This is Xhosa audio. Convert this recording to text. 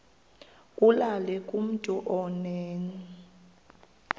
kulula kumntu onen